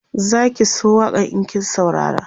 Zaki so waƙan in kin saurara